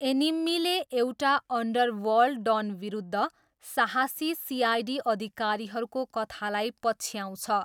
एनिम्मीले एउटा अन्डरवर्ल्ड डनविरुद्ध साहसी सिआइडी अधिकारीहरूको कथालाई पछ्याउँछ।